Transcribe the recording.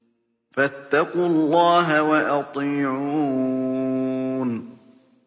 فَاتَّقُوا اللَّهَ وَأَطِيعُونِ